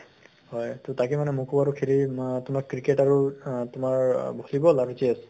হয় । তাকে মোকো আৰু খেলি আম cricket আৰু আ তোমাৰ volleyball আৰু chess ?